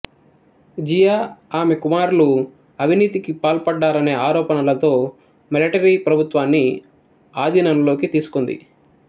జియా ఆమె కుమారులు అవినీతికి పాల్పడ్డారనే ఆరోపణలతో మిలటరీ ప్రభుత్వాన్ని ఆధీనంలోకి తీసుకుంది